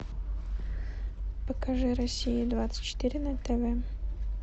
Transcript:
покажи россия двадцать четыре на тв